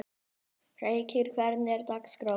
Feykir, hvernig er dagskráin?